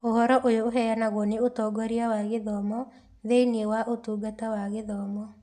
Ũhoro ũyũ ũheanagwo nĩ ũtongoria wa gĩthomo thĩnĩ wa Ũtungata wa Gĩthomo